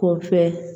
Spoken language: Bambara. K'o kɛ